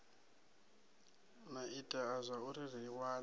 a itea zwauri ri wane